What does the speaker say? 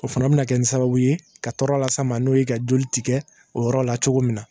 O fana bɛna kɛ ni sababu ye ka tɔɔrɔ las'an ma n'o ye ka joli tigɛ o yɔrɔ la cogo min na